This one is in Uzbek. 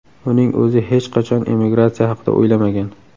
Uning o‘zi hech qachon emigratsiya haqida o‘ylamagan.